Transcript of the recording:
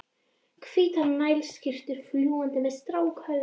Hvítar nælonskyrtur fljúga með strákahöfuð útum allt.